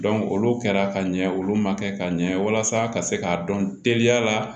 olu kɛra ka ɲɛ olu ma kɛ ka ɲɛ walasa ka se k'a dɔn teliya la